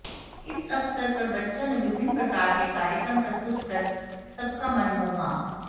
इस अवसर पर बच्चों ने विभिन्न प्रकार के कार्यक्रम प्रस्तुत कर सबका मन मोहा